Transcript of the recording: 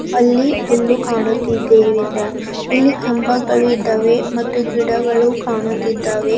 ಅಲ್ಲಿ ಹುಲ್ಲು ಕಾಣುತ್ತಿದೆ ಇಲ್ಲಿ ಕಂಬಗಳು ಇದ್ದಾವೆ ಮತ್ತು ಗಿಡಗಳು ಕಾಣುತ್ತಿದ್ದಾವೆ.